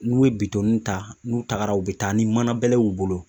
N'u ye bitɔnniw ta n'u tagara u bɛ taa ni mana bɛlɛw y'u bolo